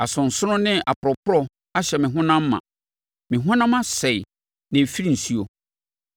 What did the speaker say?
Asonsono ne aporɔporɔ ahyɛ me honam ma, me honam asɛe na ɛrefiri nsuo.